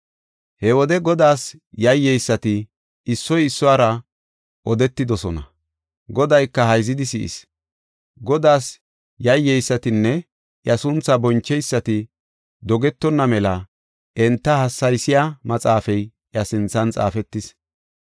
He wode Godaas yayyeysati issoy issuwara odetidosona; Godayka hayzidi si7is. Godaas yayyeysatinne iya sunthaa boncheysati dogetonna mela enta hassaysiya maxaafay iya sinthan xaafetis.